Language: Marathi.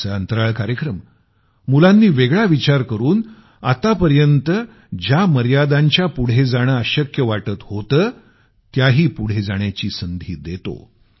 आमचा अंतराळ कार्यक्रम मुलांनी वेगळा विचार करून आतापर्यंत ज्या मर्यादाच्या पुढे जाणं अशक्य वाटत होतं त्याही पुढे जाण्याची संधी देतो